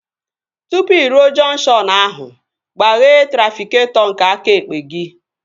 Tụpụ ị ruo jọnkshọn ahụ, gbaghee trafịketọ nke aka ekpe gị